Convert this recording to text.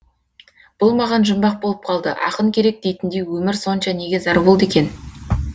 бұл маған жұмбақ болып қалды ақын керек дейтіндей өмір сонша неге зар болды екен